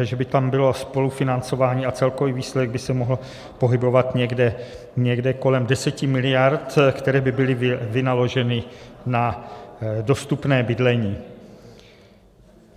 že by tam bylo spolufinancování a celkový výsledek by se mohl pohybovat někde kolem 10 mld., které by byly vynaloženy na dostupné bydlení.